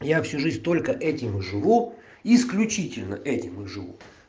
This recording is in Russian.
я всю жизнь только этим и живу исключительно этим и живу